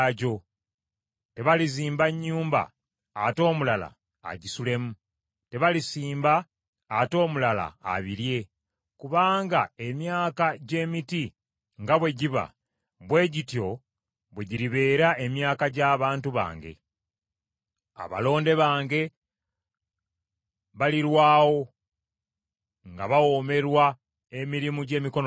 Tebalizimba nnyumba ate omulala agisulemu, tebalisimba ate omulala abirye. Kubanga emyaka gy’emiti nga bwe giba bwe gityo bwe giribeera emyaka gy’abantu bange. Abalonde bange balirwawo nga bawoomerwa emirimu gy’emikono gyabwe.